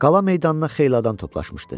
Qala meydanına xeyli adam toplaşmışdı.